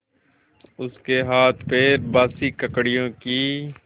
उसके हाथपैर बासी ककड़ियों की